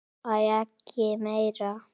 Æi, ekki meira!